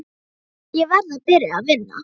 Ég verð að byrja að vinna.